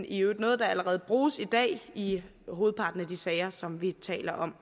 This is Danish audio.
i øvrigt noget der allerede bruges i dag i hovedparten af de sager som vi taler om